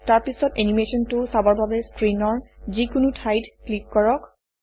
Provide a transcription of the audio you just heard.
তাৰপিছত এনিমেচনটো চাবৰ বাবে স্ক্ৰীনৰ যিকোনো ঠাইত ক্লিক কৰক